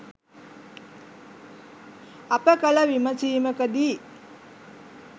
අප කළ විමසීමකදී